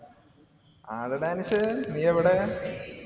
ആരെടാ അനസേ, നീയെവിടെയാ.